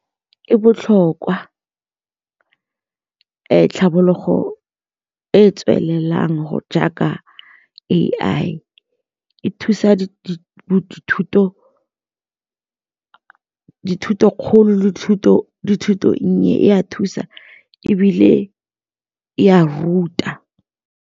E botlhokwa tlhabologo e e tswelelang jaaka A_I e thusa dithuto e nnye e a thusa ebile e a ruta.